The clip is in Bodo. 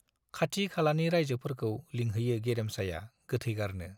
खाथि खालानि राइजोफोरखौ लिंहैयो गेरेमसाया गोथै गारनो।